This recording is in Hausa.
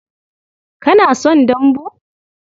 Kana son dambu?